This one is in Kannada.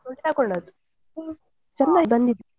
ತಕ್ಕೊಂಡದ್ದು ಚಂದ ಬಂದಿತ್ತು.